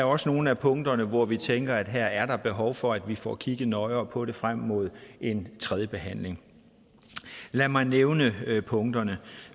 også nogle af punkterne hvor vi tænker at her er der behov for at vi får kigget nøjere på det frem mod en tredje behandling lad mig nævne punkterne